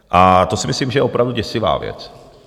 A to si myslím, že je opravdu děsivá věc.